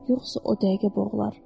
Yoxsa o dəqiqə boğular.